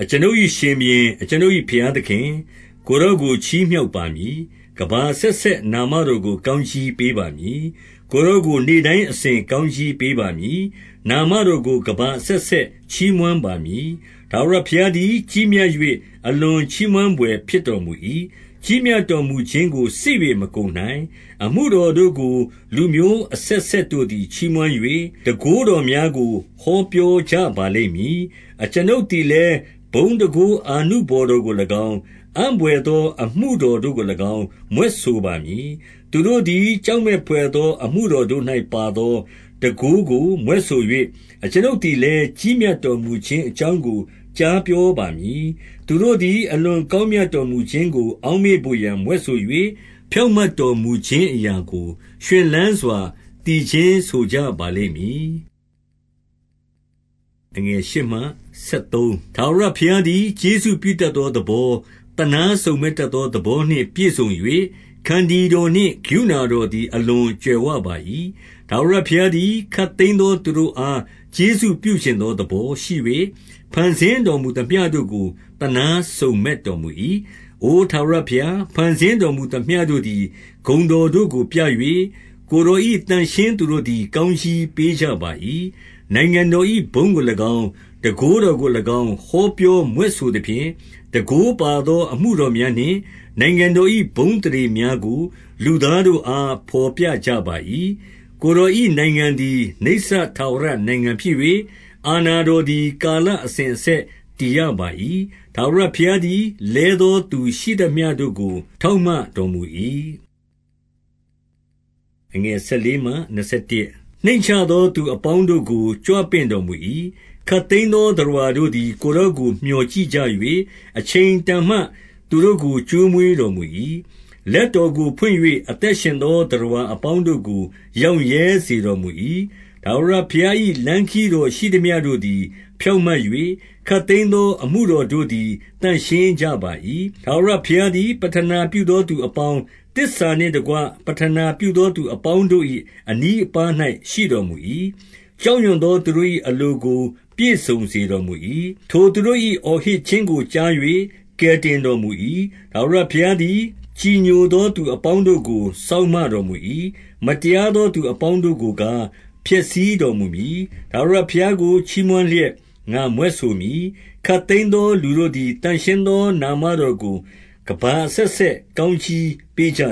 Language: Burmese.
အကျွန်ုပ်၏ရှင်ဘုရင်၊ အကျွန်ုပ်၏ဘုရားသခင်၊ ကိုယ်တော်ချီးမြှောက်ပါမည်။ ကမ္ဘာအဆက်ဆက် နာမတော်ကို ကောင်းကြီးပေးပါမည်။ 2 ကိုယ်တော်ကို နေ့တိုင်းအစဉ်ကောင်းကြီး ပေးပါမည်။ နာမတော်ကို ကမ္ဘာအဆက်ဆက် ချီးမွမ်း ပါမည်။ 3 ထာဝရဘုရားသည် ကြီးမြတ်၍ အလွန်ချီးမွမ်း ဘွယ်ဖြစ်တော်မူ၏။ ကြီးမြတ်တော်မူခြင်းကို စစ်၍ မကုန်နိုင်။ 4 အမှုတော်တို့ကို လူမျိုးအဆက်ဆက်တို့သည် ချီးမွမ်း၍၊ တန်ခိုးတော်များကိုဟောပြောကြပါလိမ့်မည်။ 5 အကျွန်ုပ်သည်လည်း ဘုန်းတန်ခိုးအာနုဘော် တော်ကို၎င်း၊ အံ့ဘွယ်သော အမှုတော်တို့ကို၎င်း မြွက်ဆို ပါမည်။ 6 သူတို့သည် ကြောက်မတ်ဘွယ်သော အမှုတော် တို့၌ပါသော တန်ခိုးကို မြွက်ဆို၍၊ အကျွန်ုပ်သည်လည်း၊ ကြီးမြတ်တော်မူခြင်းအကြောင်းကို ကြားပြောပါမည်။ 7 သူတို့သည် အလွန်ကောင်းမြတ်တော်မူခြင်းကို အောက်မေ့ဘို့ရာ မြွက်ဆို၍၊ ဖြောင့်မတ်တော်မူခြင်း အရာကို ရွှင်လန်းစွာ သီချင်းဆိုကြပါလိမ့်မည်။ 8 ထာဝရဘုရားသည် ကျေးဇူးပြုတတ်သော သဘော၊ သနားစုံမက် တတ်သောသဘောနှင့်ပြည့်စုံ၍၊ ခန္တီတော်နှင့်ကရုဏာတော်သည် အလွန်ကြွယ်ဝပါ၏။ 9 ထာဝရဘုရားသည် ခပ်သိမ်းသောသူတို့အား ကျေးဇူးပြုချင်သော သဘောရှိ၍၊ ဖန်ဆင်းတော်မူသမျှ တို့ကို သနားစုံမက်တော်မူ၏။ 10 အိုထာဝရဘုရား၊ ဖန်ဆင်းတော်မူသမျှတို့သည် ဂုဏ်တော်တို့ကို ပြ၍၊ ကိုယ်တော်၏ သန့်ရှင်း သူတို့သည် ကောင်းကြီးပေးကြ ပါ၏။ 11 နိုင်ငံတော်၏ဘုန်းကို၎င်း၊ တန်ခိုးတော်ကို၎င်း ဟောပြောမြွက်ဆိုသဖြင့်၊ 12 တန်ခိုးပါသောအမှုတော်များနှင့် နိုင်ငံတော်၏ ဘုန်းအသရေများကို လူသားတို့အား ဘော်ပြကြပါ၏။ 13 ကိုယ်တော်၏နိုင်ငံသည် နိစ္စထာဝရနိုင်ငံဖြစ်၍၊ အာဏာတော် သည်ကာလအစဉ်အဆက် တည်ရပါ၏။ ထာဝရဘုရားသည် လဲသောသူရှိသမျှတို့ကို ထောက်မ တော်မူ၏။ 14 နှိမ့်ချသောသူအပေါင်းတို့ကို ကြွပင့်တော်မူ၏။ 15 ခပ်သိမ်းသော သတ္တဝါတို့သည် ကိုယ်တော်ကို မျှော်ကြည့်ကြ၍၊ အချိန်တန်မှသူတို့ကို ကျွေးမွေးတော် မူ၏။ 16 လက်တော်ကိုဖွင့်၍၊ အသက်ရှင်သောသတ္တဝါ အပေါင်းတို့ကို ရောင့်ရဲစေတော်မူ၏။ 17 ထာဝရဘုရား၏ လမ်းခရီးတော်ရှိသမျှတို့သည် ဖြောင့်မတ်၍၊ ခပ်သိမ်းသော အမှုတော်တို့သည် သန့်ရှင်း ကြပါ၏။ 18 ထာဝရဘုရားသည် ပဌနာပြုသောသူအပေါင်း၊ သစ္စာနှင့်တကွ ပဌနာပြုသော သူအပေါင်း တို့၏ အနီးအပါးရှိတော်မူ၏။ 19 ကြောက်ရွံ့သောသူတို့၏ အလိုကို ပြည့်စုံစေ တော်မူ၏။ ထိုသူတို့၏အော်ဟစ်ခြင်းကို ကြား၍ ကယ်တင်တော်မူ၏။ 20 ထာဝရဘုရားသည် ကြည်ညိုသည် သူအပေါင်း တို့ကို စောင့်မတော်မူ၏။ မတရားသော သူအပေါင်းတို့ကို ကား၊ ဖျက်ဆီးတော်မူမည်။ 21 ထာဝရဘုရားကို ချီးမွမ်းလျက်ငါမြွက်ဆိုမည်။ ခပ်သိမ်းသော လူတို့သည် သန့်ရှင်းသော နာမတော်ကို ကမ္ဘာအဆက်ဆက်ကောင်းကြီးပေးကြ